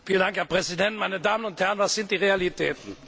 Herr Präsident, meine Damen und Herren! Was sind die Realitäten?